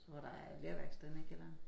Så der lerværksted nede i kælderen